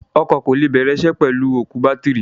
Ọkọ̀ kò lè bẹ̀rẹ̀ isẹ́ pẹ̀lú òkú bátìrì.